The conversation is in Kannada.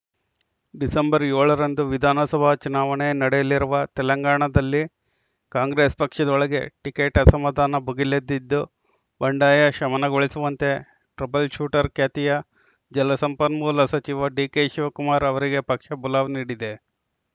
ಡಿಸೆಂಬರ್ ಏಳರಂದು ವಿಧಾನಸಭಾ ಚುನಾವಣೆ ನಡೆಯಲಿರುವ ತೆಲಂಗಾಣದಲ್ಲಿ ಕಾಂಗ್ರೆಸ್‌ ಪಕ್ಷದೊಳಗೆ ಟಿಕೆಟ್‌ ಅಸಮಾಧಾನ ಭುಗಿಲೆದ್ದಿದ್ದು ಬಂಡಾಯ ಶಮನಗೊಳಿಸುವಂತೆ ಟ್ರಬಲ್‌ ಶೂಟರ್‌ ಖ್ಯಾತಿಯ ಜಲಸಂಪನ್ಮೂಲ ಸಚಿವ ಡಿಕೆಶಿವಕುಮಾರ್‌ ಅವರಿಗೆ ಪಕ್ಷ ಬುಲಾವ್‌ ನೀಡಿದೆ